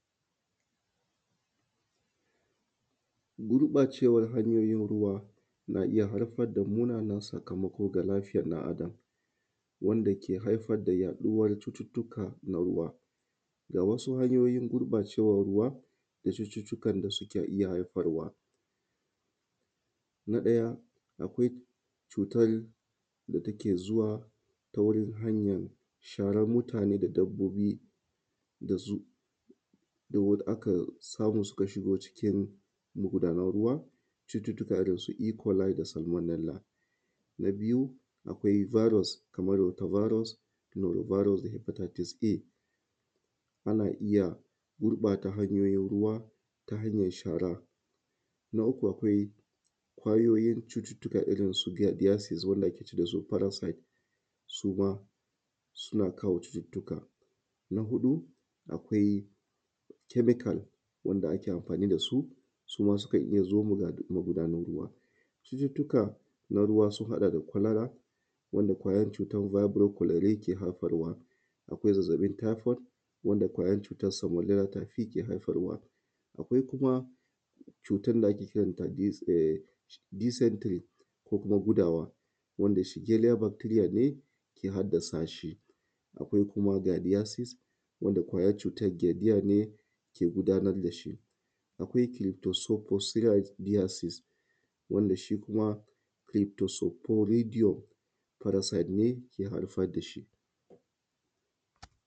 Gurɓacewar hanyoyin ruwa na iya haifar da munanan sakamako ga lafiyar ɗan adam, wanda ke haifar da yaɗuwar cututtuka na ruwa. Ga wasu hanyoyin gurɓacewar ruwa na cututtukan da suke iya haifarwa. Na ɗaya akwai cutar da take zuwa ta wurin hanyan sharan mutane da dabbobi da su aka samu suka shigo cikin magudanar ruwa cututtuka irinsu e-coli da. Na biyu akwai virus kamar water virus da hepatitis A ana iya gurɓata hanyoyin ruwa da hanyar shara. Na uku akwai ƙwayoyin cututtuka irrin su wanda ake ce dasu parasite suma suna kawo cututtka. Na huɗu akwai chemical wanda ake amafani dasu suma sukan iya zo magudan ruwa cututtuka na ruwa sun haɗa da cholera wanda ƙwayar cutar yake haifarwa, akwai zazzaɓin typhoid wanda ƙwayar cutar sa yake haifarwa. Akwai kuma cutar da ake kiran ta uhm dysentery ko kuma gudawa wanda ne ke haddasa shi, akwai kuma wanda wanda ƙwayar cutar ne ke gudanar da shi akwai ke gudanar dashi. Akwai wanda shi kuma parasite ne ke haifar dashi